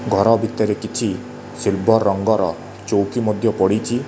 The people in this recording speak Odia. ଘର ଭିତରେ କିଛି ସିଲଭର୍ ରଙ୍ଗର ଚୋଉକି ମଧ୍ୟ ପଡ଼ିଚି।